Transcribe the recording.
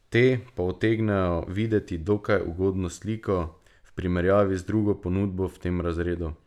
Te pa utegnejo videti dokaj ugodno sliko v primerjavi z drugo ponudbo v tem razredu.